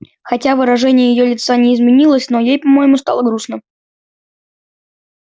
хотя выражение её лица не изменилось но ей по-моему стало грустно